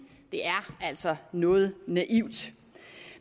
det er altså noget naivt